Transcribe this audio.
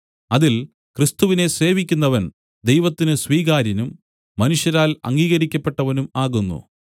അതിൽ ക്രിസ്തുവിനെ സേവിക്കുന്നവൻ ദൈവത്തിന് സ്വീകാര്യനും മനുഷ്യരാൽ അംഗീകരിക്കപ്പെട്ടവനും ആകുന്നു